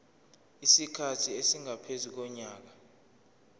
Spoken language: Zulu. isikhathi esingaphezu konyaka